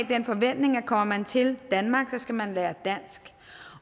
den forventning at kommer man til danmark skal man lære dansk